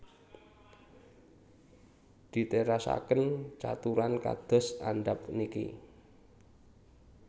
Diterasaken caturan kados andhap niki